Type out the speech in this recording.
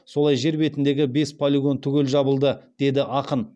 солай жер бетіндегі бес полигон түгел жабылды деді ақын